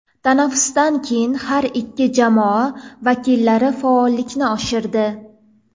Tanaffusdan keyin har ikki jamoa vakillari faollikni oshirdi.